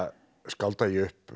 skálda ég upp